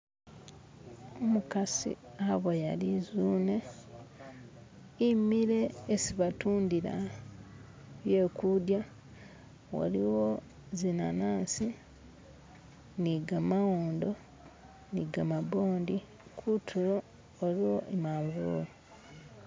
umukasi aboya lizune imile isibatundila byekudya waliwo zinanasi nigamawondo nigamabondi kutulo waliwo imanvuli